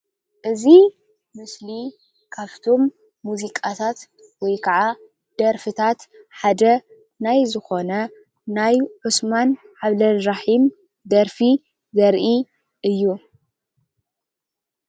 እዚ ምስሊ ካፍቶም ሙዚቃታት ወይ ከዓ ደርፍታት ሓደ ናይ ዝኾነ ናይ ዑስማን ዓብድልራሒም ደርፊ ዘርኢ እዪ